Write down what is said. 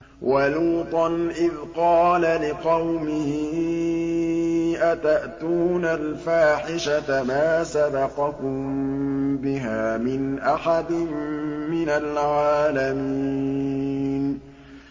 وَلُوطًا إِذْ قَالَ لِقَوْمِهِ أَتَأْتُونَ الْفَاحِشَةَ مَا سَبَقَكُم بِهَا مِنْ أَحَدٍ مِّنَ الْعَالَمِينَ